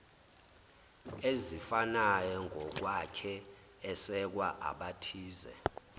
ezifanayongokwakhe esekwa abathize